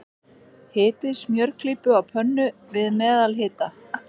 Hitið smjörklípu á pönnu, við meðalhita.